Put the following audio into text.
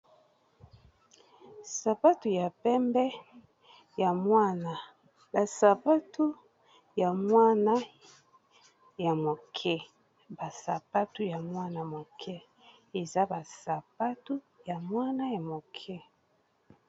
sapatu ya pembe ya mwana ya moke.